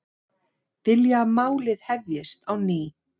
Vilja að málið hefjist á ný